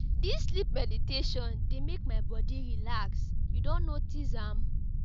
Dis sleep meditation dey make my body relax, you don notice am?